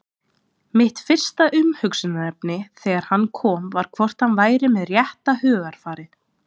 Mitt fyrsta umhugsunarefni þegar hann kom var hvort hann væri með rétta hugarfarið?